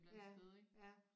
Ja ja